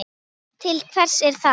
Til hvers er það?